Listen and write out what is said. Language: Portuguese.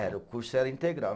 Era, o curso era integral.